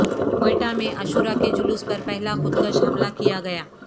کوئٹہ میں عاشور کے جلوس پر پہلا خودکش حملہ کیا گیا